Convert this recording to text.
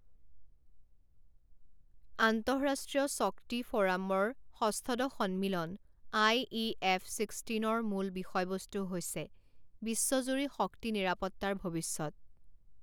আন্তঃৰা্ষ্ট্ৰীয় শক্তি ফ ৰামৰ ষষ্ঠদশ সন্মিলন আই ই এফ ছিক্সটিনৰ মূল বিষয়বস্তু হৈছে বিশ্বজুৰি শক্তি নিৰাপত্তাৰ ভৱিষ্যৎ।